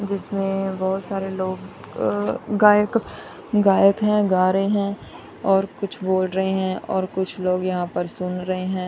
जिसमें बहुत सारे लोग अह गायक गायक हैं गा रहे हैं और कुछ बोल रहे हैं और कुछ लोग यहां पर सुन रहे हैं।